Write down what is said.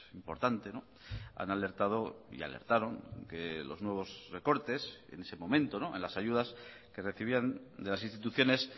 importante han alertado y alertaron que los nuevos recortes en ese momento en las ayudas que recibían de las instituciones